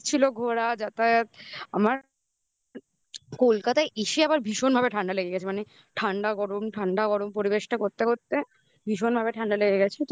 ঘোরা যাতায়াত আমার কলকাতা এসে আবার ভীষণ ভাবে ঠান্ডা লেগে গেছে মানে ঠান্ডা গরম ঠান্ডা গরম পরিবেশটা করতে করতে ভীষণ ভাবে ঠান্ডা লেগে গেছে.